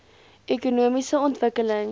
ekonomiese ontwikkeling